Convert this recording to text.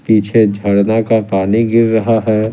पीछे झड़ना का पानी गिर रहा है ।